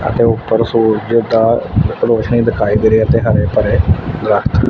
ਇਹਦੇ ਉੱਪਰ ਸੂਰਜ ਦੀ ਰੋਸ਼ਨੀ ਦਿਖਾਈ ਗਈ ਹੈ ਤੇ ਹਰੇ ਭਰੇ ਦਰੱਖਤ।